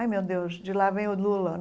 Ai, meu Deus, de lá vem o Lula.